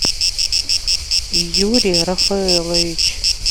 юрий рафаэлович